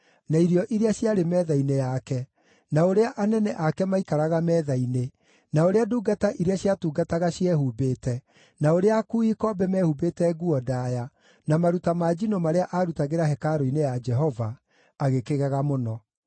na irio iria ciarĩ metha-inĩ yake, na ũrĩa anene ake maikaraga metha-inĩ, na ũrĩa ndungata iria ciatungataga ciehumbĩte, na ũrĩa akuui ikombe mehumbĩte nguo ndaaya, na maruta ma njino marĩa aarutagĩra hekarũ-inĩ ya Jehova, agĩkĩgega mũno.